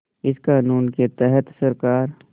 इस क़ानून के तहत सरकार